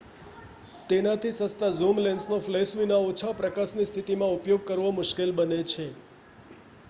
તેનાથી સસ્તા ઝૂમ લેન્સનો ફ્લેશ વિના ઓછા પ્રકાશની સ્થિતિમાં ઉપયોગ કરવો મુશ્કેલ બને છે